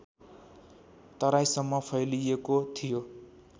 तराईसम्म फैलिएको थियो